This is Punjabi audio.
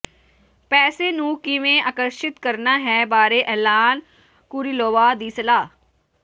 ਪੈਸੇ ਨੂੰ ਕਿਵੇਂ ਆਕਰਸ਼ਿਤ ਕਰਨਾ ਹੈ ਬਾਰੇ ਐਲਨ ਕੁਰਿਲੋਵਾ ਦੀ ਸਲਾਹ